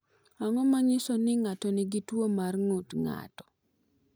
Ang’o ma nyiso ni ng’ato nigi tuwo mar ng’ut ng’ato?